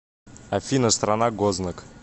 афина страна гознак